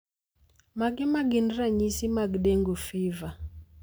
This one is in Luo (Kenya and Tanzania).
Mage magin ranyisi mag Dengue fever?